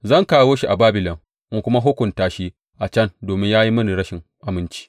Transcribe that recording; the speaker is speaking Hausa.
Zan kawo shi a Babilon in kuma hukunta shi a can domin ya yi mini rashin aminci.